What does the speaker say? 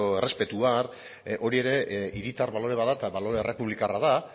errespetua hori ere hiritar balore bat da eta balore errepublikarra da